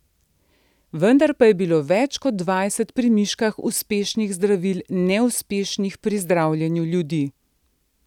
Vendar pa je bilo več kot dvajset pri miškah uspešnih zdravil neuspešnih pri zdravljenju ljudi.